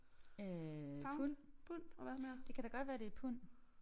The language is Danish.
Øh pund det kan da godt være det er pund